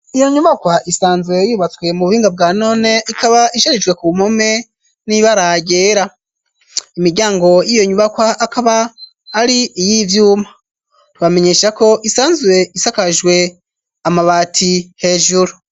Iyo nyubakwa isanzwe yubatswe mu buhinga bwa none, ikaba isharijwe kumpome n'ibara ryera, imiryango y'iyo nyubakwa akaba ari iy'ivyuma, bamenyesha ko isanzwe isakajwe amabati hejuru.